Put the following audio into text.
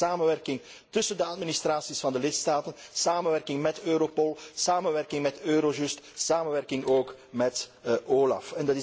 Dat betekent samenwerking tussen de administraties van de lidstaten, samenwerking met Europol, samenwerking met Eurojust, samenwerking ook met OLAF.